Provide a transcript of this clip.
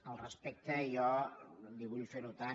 al respecte jo li vull fer notar